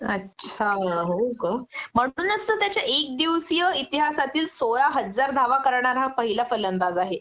अछा हो का म्हणूनच तर त्याचे एक दिवसीय इतिहासातील सोळा हजार धावा करणारा हा पहिला फलंदाज आहे